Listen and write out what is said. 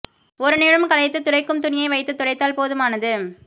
ஒரு நிமிடம் களைத்து துடைக்குக்ம் துணியை வைத்து துடைத்தால் போதுமானது